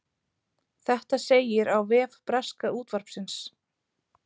Þetta segir á vef breska útvarpsins